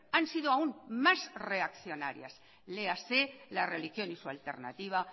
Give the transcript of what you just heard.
han sido aún más reaccionarias léase la religión y su alternativa